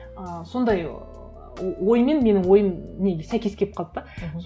ы сондай ыыы оймен менің ойым не сәйкес келіп қалды да мхм